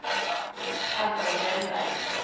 Anton Kjellberg